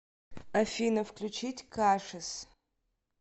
афина включить кашис